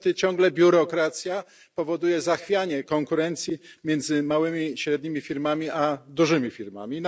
Niestety, ciągle biurokracja powoduje zachwianie konkurencji między małymi i średnimi firmami a dużymi firmami.